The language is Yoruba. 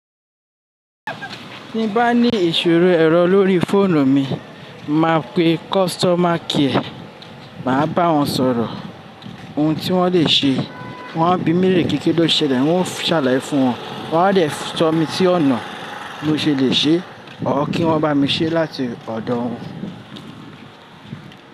Tí n bá ní ìṣòro ẹ̀rọ lórí fóònù mi, máa pe customer care, màá bá wọn sọ̀rọ̀. Ohun tí wọ́n lè ṣe, wọ́n á bi mí lééré pe ki lo ṣẹlẹ̀, wọ́n á sàlàyé fún wọn, wọ́n á dè tọmi sí ọ̀nà bi mo ṣe lè ṣe or kí wọ́n bá mi ṣe láti ọ̀dọ̀ wọn.